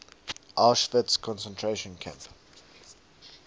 auschwitz concentration camp